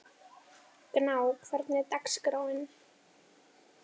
Gná, hvernig er dagskráin?